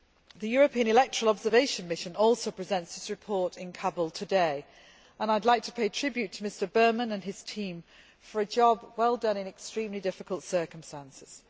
The European Electoral Observation Mission also presents its report in Kabul today and I would like to pay tribute to Mr Berman and his team for a job well done in extremely difficult circumstances.